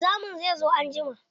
Wanzamin zai zo anjima.